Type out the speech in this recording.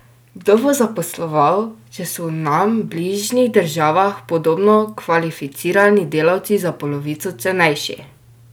Kdo bo zaposloval, če so v nam bližnjih državah podobno kvalificirani delavci za polovico cenejši?